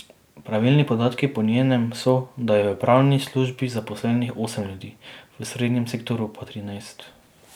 Pravilni podatki po njenem so, da je v pravni službi zaposlenih osem ljudi, v osrednjem sektorju pa trinajst.